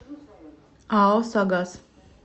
ао согаз